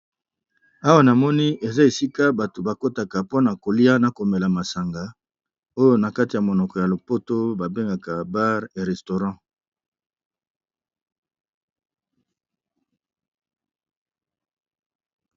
Awa na moni eza esika bato bakotaka mpona kolia na komela masanga oyo na kati ya monoko ya lopoto babengaka bare ya restourant.